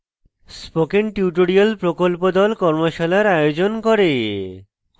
spoken tutorial প্রকল্প the কর্মশালার আয়োজন করে